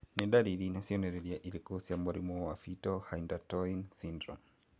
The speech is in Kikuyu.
Nĩ ndariri na cionereria irĩkũ cia mũrimũ wa Fetal hydantoin syndrome?